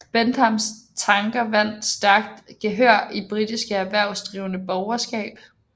Benthams tanker vandt stærkt gehør i det britiske erhvervsdrivende borgerskab